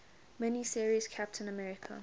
mini series captain america